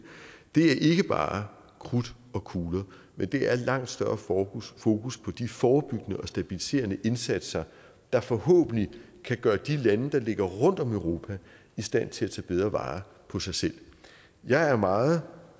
ikke bare er krudt og kugler men det er et langt større fokus fokus på de forebyggende og stabiliserende indsatser der forhåbentlig kan gøre de lande der ligger rundt om europa i stand til at tage bedre vare på sig selv jeg er meget